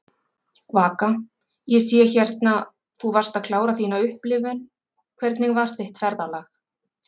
Vaka: Ég sé hérna, þú varst að klára þína upplifun, hvernig var þitt ferðalag?